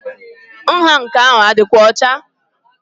Nha nke a adi6kwa ọcha?